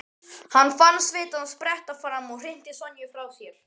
Hann fann svitann spretta fram og hrinti Sonju frá sér.